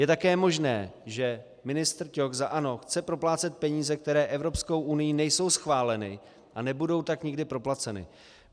Je také možné, že ministr Ťok za ANO chce proplácet peníze, které Evropskou unií nejsou schváleny, a nebudou tak nikdy proplaceny.